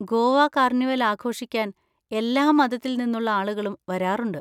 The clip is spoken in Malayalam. ഗോവ കാർണിവൽ ആഘോഷിക്കാൻ എല്ലാ മതത്തിൽ നിന്നുള്ള ആളുകളും വരാറുണ്ട്.